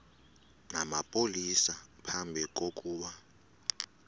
namapolisa phambi kokuba